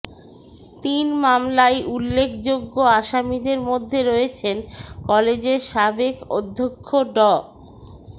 তিন মামলায় উল্লেখযোগ্য আসামিদের মধ্যে রয়েছেন কলেজের সাবেক অধ্যক্ষ ড